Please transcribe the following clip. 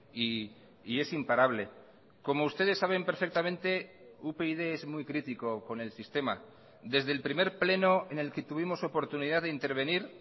y es imparable como ustedes saben perfectamente upyd es muy crítico con el sistema desde el primer pleno en el que tuvimos oportunidad de intervenir